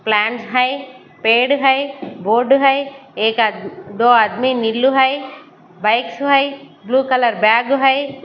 Plant है पेड़ है बोर्ड है एक आदमी दो आदमी नीलू है बाइक है ब्लू कलर बैग है।